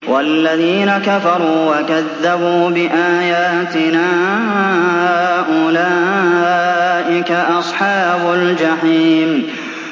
وَالَّذِينَ كَفَرُوا وَكَذَّبُوا بِآيَاتِنَا أُولَٰئِكَ أَصْحَابُ الْجَحِيمِ